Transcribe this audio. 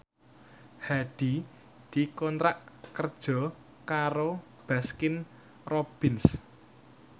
Hadi dikontrak kerja karo Baskin Robbins